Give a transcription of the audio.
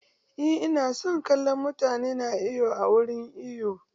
Eh ina son kallon mutane na iwo a wurin iwo.